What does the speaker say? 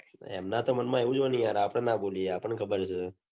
એમના તો મન માં એવું જ હોય ને આપડે ના બોલીએ આપડ ને ખબર છે